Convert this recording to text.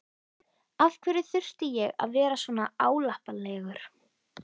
Af hverju þurfti ég að vera svona álappalegur?